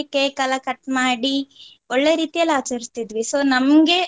Cake ಎಲ್ಲ cut ಮಾಡಿ ಒಳ್ಳೆ ರೀತಿಯಲ್ಲಿ ಆಚರಿಸ್ತಿದ್ವಿ. so ನಮ್ಗೆ.